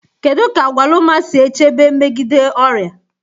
Kedu ka agwaluma si echebe megide ọrịa?